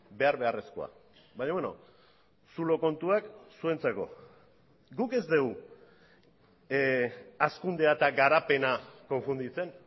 behar beharrezkoa baina beno zulo kontuak zuentzako guk ez dugu hazkundea eta garapena konfunditzen